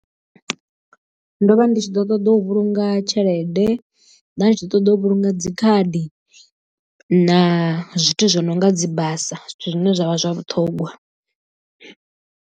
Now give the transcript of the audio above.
Ndo vha ndi tshi ḓo ṱoḓa u vhulunga tshelede nda ndi tshi ḓo ṱoḓa u vhulunga dzikhadi na zwithu zwo no nga dzi basa zwithu zwine zwavha zwa vhuṱhogwa.